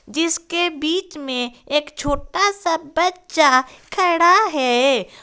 जिसके बीच में एक छोटा सा बच्चा खड़ा है।